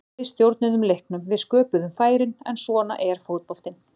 Við stjórnuðum leiknum, við sköpuðum færin, en svona er fótboltinn.